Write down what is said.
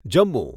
Jammu